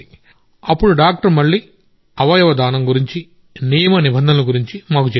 అప్పుడు డాక్టర్ మళ్ళీ అవయవ దానం గురించి నియమ నిబంధనల గురించి మాకు చెప్పారు